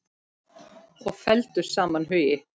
Og felldu saman hugi.